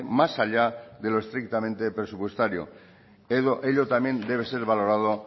más allá de lo estrictamente presupuestario ello también debe ser valorado